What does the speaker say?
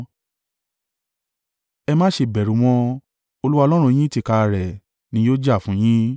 Ẹ má ṣe bẹ̀rù wọn, Olúwa Ọlọ́run yín tìkára rẹ̀ ni yóò jà fún un yín.”